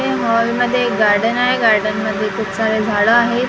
हे मॅाल मधे एक गार्डन आहे गार्डनमध्ये खूप सारे झाडं आहेत--